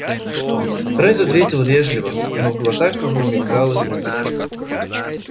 ретт ответил вежливо но в глазах его мелькалась насмешка